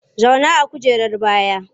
Zauna a kujerar baya!